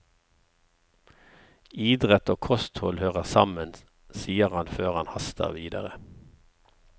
Idrett og kosthold hører sammen, sier han før han haster videre.